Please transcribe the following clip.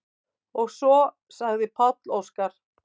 Og svo sagði Páll Óskar: